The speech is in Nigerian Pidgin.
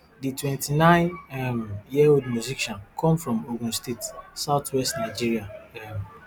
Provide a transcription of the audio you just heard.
di twenty-nine um year old musician come from ogun state south west nigeria um